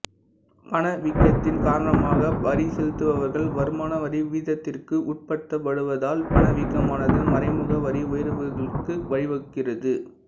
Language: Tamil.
பணவீக்கத்தின் காரணமாக வரி செலுத்துபவர்கள் வருமான வரி வீதத்திற்கு உட்படுத்தப்படுவதால் பணவீக்கமானது மறைமுக வரி உயர்வுகளுக்கு வழிவகுக்கிறது